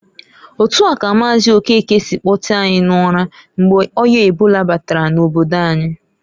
Otua ka Maazi Okeke si kpotee anyi n'ụra, mgbe o̜ya ebola batara n'obodo anyi.